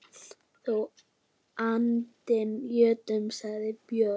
Þú aldni jötunn, sagði Björn.